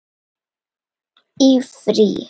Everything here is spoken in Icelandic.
Í frí.